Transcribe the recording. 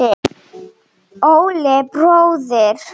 Óli bróðir.